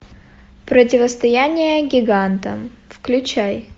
противостояние гиганта включай